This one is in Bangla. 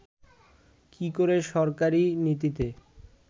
কি করে সরকারী নীতিকে